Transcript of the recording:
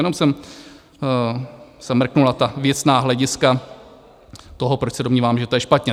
Jenom jsem se mrkl na ta věcná hlediska toho, proč se domnívám, že to je špatně.